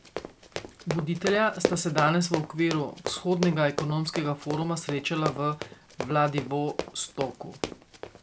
Voditelja sta se danes v okviru Vzhodnega ekonomskega foruma srečala v Vladivostoku.